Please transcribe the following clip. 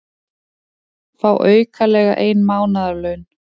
Fá aukalega ein mánaðarlaun